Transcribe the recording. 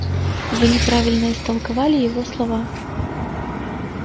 вы неправильно истолковали его слова